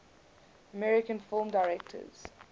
american film directors